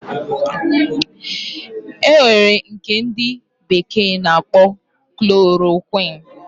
Enwere nke ndi bekee na akpo chloroquine